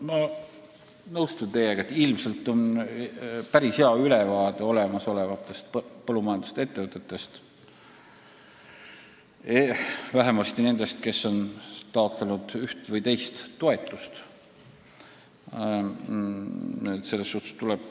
Ma nõustun teiega, et ilmselt on meil päris hea ülevaade olemasolevatest põllumajandusettevõtetest, vähemasti nendest, kes on taotlenud üht või teist toetust.